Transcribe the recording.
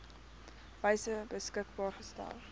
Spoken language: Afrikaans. wyse beskikbaar gestel